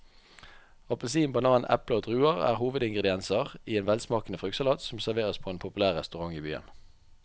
Appelsin, banan, eple og druer er hovedingredienser i en velsmakende fruktsalat som serveres på en populær restaurant i byen.